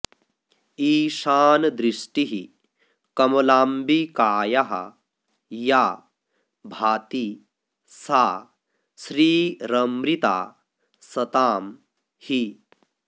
ईशानदृष्टिः कमलाम्बिकायाः या भाति सा श्रीरमृता सतां हि